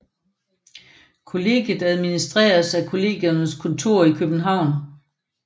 Kollegiet administreres af Kollegiernes Kontor I København